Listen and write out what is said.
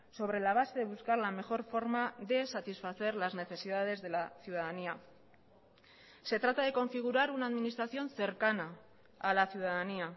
sobre la base de buscar la mejor forma de satisfacer las necesidades de la ciudadanía se trata de configurar una administración cercana a la ciudadanía